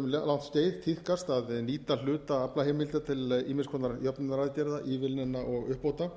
um langt skeið tíðkast að nýta hluta aflaheimilda til ýmiss konar jöfnunaraðgerða ívilnana og uppbóta